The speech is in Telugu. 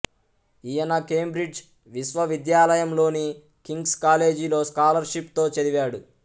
ఈయన కేంబ్రిడ్జ్ విశ్వవిద్యాలయంలోని కింగ్స్ కాలేజీలో స్కాలర్షిప్ తో చదివాడు